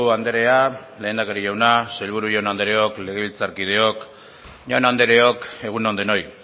andrea lehendakari jauna sailburu jaun andreok legebiltzarkideok jaun andreok egun on denoi